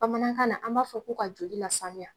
Bamanankan na an b'a fɔ ko ka joli lasanuya.